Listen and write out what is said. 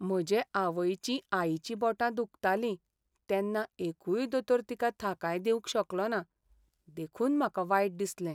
म्हजे आवयचीं आईचीं बोटां दुखताली तेन्ना एकूय दोतोर तिका थाकाय दिवंक शकलो ना देखून म्हाका वायट दिसलें..